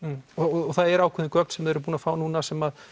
og það eru ákveðin gögn sem þið eruð búin að fá núna sem